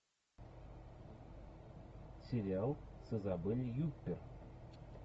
сериал с изабель юппер